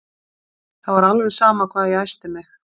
Það var sama hvað ég æsti mig.